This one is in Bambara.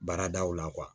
Baaradaw la